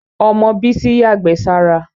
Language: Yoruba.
Ọmọ Bísí yàgbẹ́ sára.